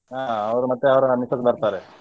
ಹಾ ಅವರು ಮತ್ತೆ ಅವರ missus ಬರ್ತಾರೆ.